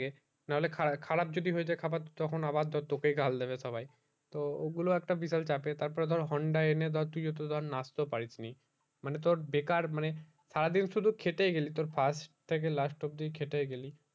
নাহলে খারাপ খারাপ যদি হয়েছে খাবার তখন আবার তো তোকে ই গাল দেবে সবাই তো ওই গুলো একটা বিশাল চাপের তার পর ধর honda এনে ধর তুই তো ধর নাচতে ও পারিস নি মানে তোর বেকার মানে সারা দিন শুধু খেটেই গেলি তোর first থেকে last অবধি খেটেই গেলি